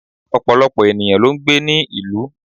Òpọ̀lọpọ̀ ènìyàn ló n gbé ní ìlú